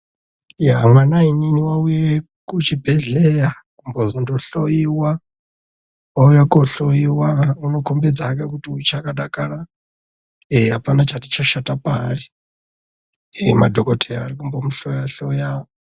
Mwanainini wauya kuchibhehleya kuzombondohloiwa. Wauya kohloiwa ,unokombedza hke kuti uchakadakara .Apana chati chashata paari .Madhokoteya arikumbomuhloya hloya.